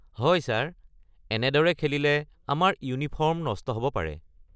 হয় ছাৰ, এনেদৰে খেলিলে আমাৰ ইউনিফৰ্ম নষ্ট হ'ব পাৰে।